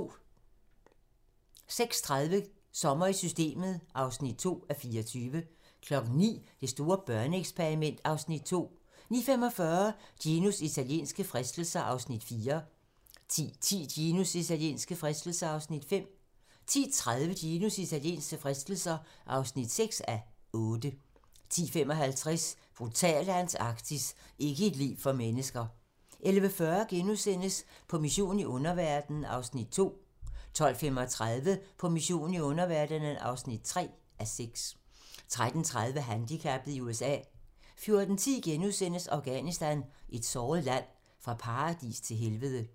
08:30: Sommer i systemet (2:24) 09:00: Det store børneeksperiment (Afs. 2) 09:45: Ginos italienske fristelser (4:8) 10:10: Ginos italienske fristelser (5:8) 10:30: Ginos italienske fristelser (6:8) 10:55: Brutale Antarktis - ikke et liv for mennesker 11:40: På mission i underverdenen (2:6)* 12:35: På mission i underverdenen (3:6) 13:30: Handicappet i USA 14:10: Afghanistan - et såret land: Fra paradis til helvede *